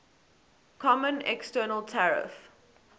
common external tariff